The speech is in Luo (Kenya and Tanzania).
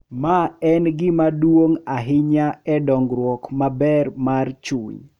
Ma en gima duong’ ahinya e dongruok maber mar chuny.